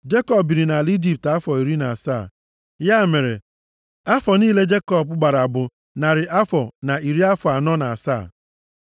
Jekọb biri nʼala Ijipt afọ iri na asaa. Ya mere, afọ niile Jekọb gbara bụ narị afọ na iri afọ anọ na asaa.